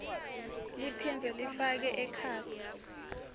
liphindze lifake ekhatsi